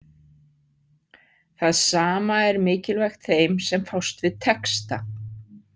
Það sama er mikilvægt þeim sem fást við texta.